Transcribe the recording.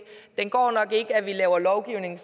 at at vi laver lovgivning